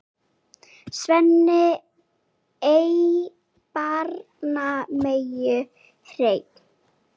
Sveinn ei barnar meyju hreinn.